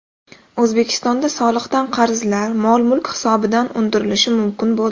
O‘zbekistonda soliqdan qarzlar mol-mulk hisobidan undirilishi mumkin bo‘ldi.